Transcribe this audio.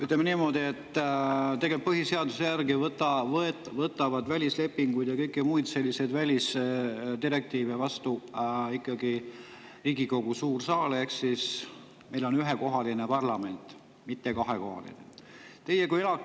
Ütleme niimoodi, et põhiseaduse järgi võtab välislepinguid ja kõike muud, ka välisdirektiive, vastu ikkagi Riigikogu suur saal, ehk meil on ühe parlament, mitte kahe.